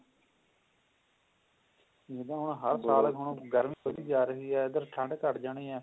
ਜਿੱਦਾਂ ਹੁਣ ਹਰ ਸਾਲ ਹੁਣ ਗਰਮੀ ਵਧੀ ਜਾ ਰਹੀ ਹੈ ਏਧਰ ਠੰਡ ਘੱਟ ਜਾਣੀ ਹੈ